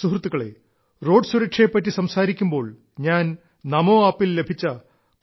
സുഹൃത്തുക്കളേ റോഡ് സുരക്ഷയെപ്പറ്റി സംസാരിക്കുമ്പോൾ ഞാൻ നമോ ആപ്പിൽ ലഭിച്ച